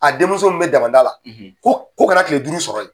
A denmuso min be damanda la, k'o k'o kana tile duuru sɔrɔ ye.